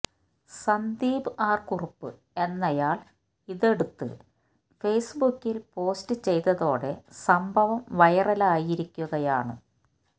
Sandeep R Kurup എന്നയാള് ഇതെടുത്ത് ഫേസ്ബുക്കില് പോസ്റ്റ് ചെയ്തതോടെ സംഭവം വൈറലായിരിക്കുകയാണ്